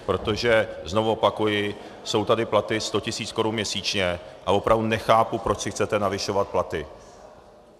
Protože znovu opakuji, jsou tady platy 100 tisíc korun měsíčně a opravdu nechápu, proč si chcete navyšovat platy.